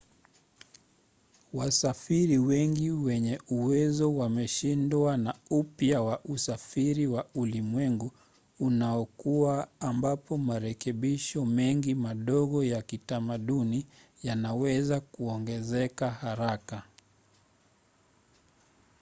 wasafiri wengi wenye uwezo wameshindwa na upya wa usafiri wa ulimwengu unaokua ambapo marekebisho mengi madogo ya kitamaduni yanaweza kuongezeka haraka